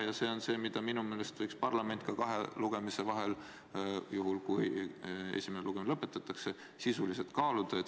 Ja see on see, mida minu meelest võiks parlament kahe lugemise vahel, juhul kui esimene lugemine lõpetatakse, sisuliselt kaaluda.